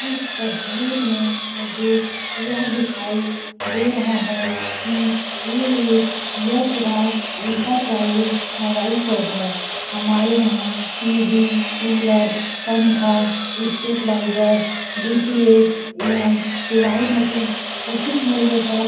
इस तस्वीर में मुझे यह दिखाई दे रहा है कि ये एक Yash Raj enterprise mobile shop है हमारे यहां टीवी कूलर पंखा स्टेबलाइजर डीटीएच एवं सिलाई मशीन उचित मूल्य पर --